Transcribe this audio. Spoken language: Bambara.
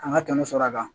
An ka tɔnɔ sɔrɔ a kan